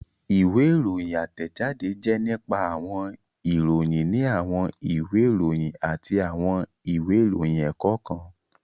Ìwé ìròyìn átẹ̀jáde jẹ́ nípa àwọn ìròyìn ní àwọn ìwé ìròyìn àti àwọn ìwé ìròyìn ẹ̀kọ́ kan